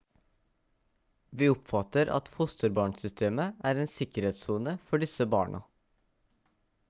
vi oppfatter at fosterbarnsystemet er en sikkerhetssone for disse barna